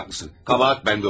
Qəbahət məndə oldu.